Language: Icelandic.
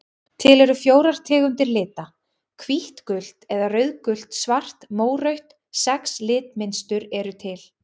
Til eru fjórar tegundir lita: hvítt gult eða rauðgult svart mórautt Sex litmynstur eru til.